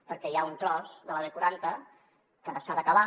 perquè hi ha un tros de la b quaranta que s’ha d’acabar